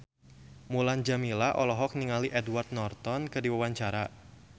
Mulan Jameela olohok ningali Edward Norton keur diwawancara